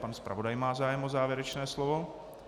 Pan zpravodaj má zájem o závěrečné slovo.